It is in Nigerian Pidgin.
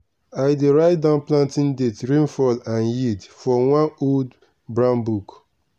i dey write down planting date rainfall and yield for one old brown book.